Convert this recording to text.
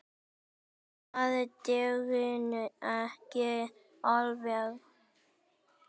Það dugði ekki alveg.